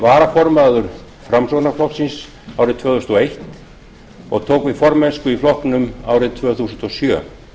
varaformaður framsóknarflokksins árið tvö þúsund og eins og tók við formennsku í flokknum árið tvö þúsund og sjö